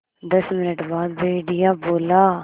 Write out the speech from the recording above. दस मिनट बाद भेड़िया बोला